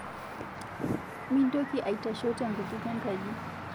Mintoki aitasho tenkutuk enkaji